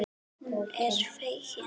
Hún er fegin.